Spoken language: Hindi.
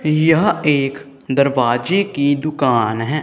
यह एक दरवाजे की दुकान है।